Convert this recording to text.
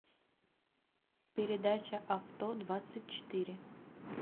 передача авто двадцать четыре